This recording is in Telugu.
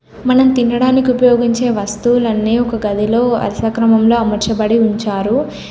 మనం తినడానికి ఉపయోగించే వస్తువులన్నీ ఒక గదిలో అరస క్రమంలో అమర్చబడి ఉంచారు.